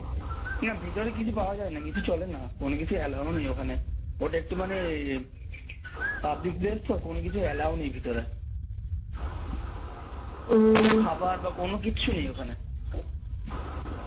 না ভিতরে কিছু পাওয়া যায়না কিছু চলে না কোনো কিছু allow নেই ওখানে ওটা একটু মানে public place তো কোনো কিছু allow নেই ভিতরে খাবার বা কোনো কিচ্ছু নেই ওখানে